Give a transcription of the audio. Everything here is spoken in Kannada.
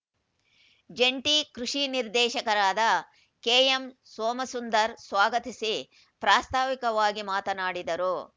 ಜಂಟಿ ಕೃಷಿ ನಿರ್ದೇಶಕರಾದ ಕೆಎಂಸೋಮಸುಂದರ್‌ ಸ್ವಾಗತಿಸಿ ಪ್ರಾಸ್ತಾವಿಕವಾಗಿ ಮಾತನಾಡಿದರು